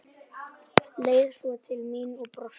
Leit svo til mín og brosti.